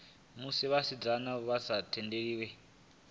musi vhasidzana vha sa tendelwi